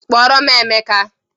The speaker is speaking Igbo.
Kpọrọ m Emeka!